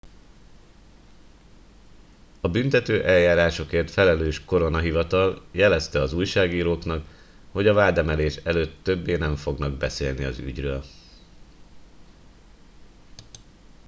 a büntetőeljárásokért felelős koronahivatal jelezte az újságíróknak hogy a vádemelés előtt többé nem fognak beszélni az ügyről